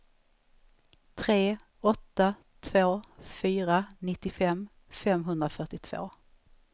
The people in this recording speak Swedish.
tre åtta två fyra nittiofem femhundrafyrtiotvå